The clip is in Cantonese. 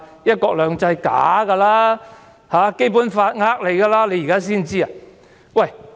"一國兩制"是虛假的，《基本法》只是騙人的。